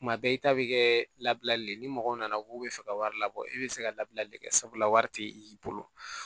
Kuma bɛɛ i ta bɛ kɛ labilali ye ni mɔgɔ nana k'u bɛ fɛ ka wari labɔ e bɛ se ka labilali kɛ sabula wari tɛ i bolo